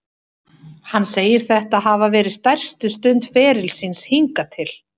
Hann segir þetta hafa verið stærstu stund ferils síns hingað til.